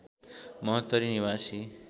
महोत्तरी निवासी